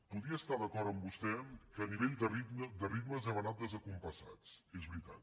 podria estar d’acord amb vostè que a nivell de ritmes hem anat descompassats és veritat